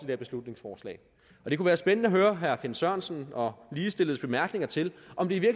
her beslutningsforslag og det kunne være spændende at høre herre finn sørensen og ligestilledes bemærkninger til om det